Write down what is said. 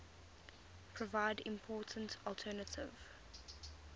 provide important alternative